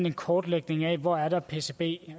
en kortlægning af hvor der er pcb